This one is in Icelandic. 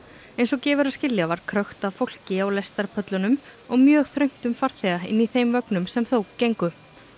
eins og gefur að skilja var krökkt af fólki á og mjög þröngt um farþega inni í þeim vögnum sem þó gengu